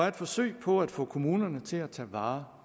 et forsøg på at få kommunerne til at tage vare